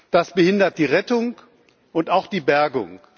Das behindert die Rettung und auch die Bergung.